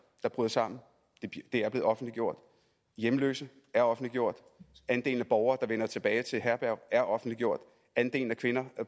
der bryder sammen er blevet offentliggjort hjemløse er offentliggjort andelen af borgere der vender tilbage til herberg er offentliggjort andelen af kvinder